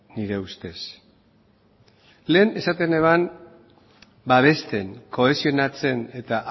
nire ustez lehen esaten nuen babesten kohesionatzen eta